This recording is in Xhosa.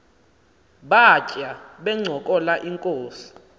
batya bencokola inkos